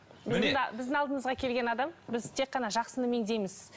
біздің алдымызға келген адам біз тек қана жақсыны меңзейміз